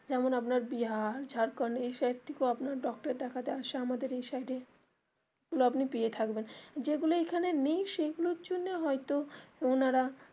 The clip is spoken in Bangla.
যেমন আপনার বিহার ঝাড়খন্ড এই side থেকেও আপনার doctor দেখাতে আসে আমাদের এই side এ যেগুলো আপনি পেয়ে থাকবেন যেইগুলো এখানে নেই সেগুলো এর জন্যে হয় তো ওনারা.